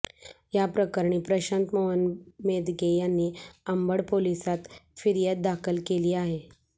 याप्रकरणी प्रशांत मोहन मेदगे यांनी अंबड पोलिसांत फिर्याद दाखल केली आहे